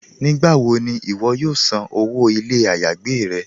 Nígbàwọ̀ ni iwọ̀ yóò sàn owó ilẹ̀-ayégbè rẹ̀?